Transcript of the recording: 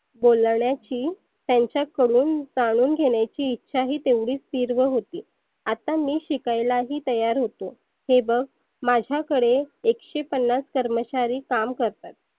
बोलन्याची त्याच्याकडून जाणून घेण्याची इच्छा तेव्हढीच तिव्र होती. आता मी शिकायला ही तयार होतो. हे बघ माझाकडे एकशे पन्नास कर्मचारी काम करतात.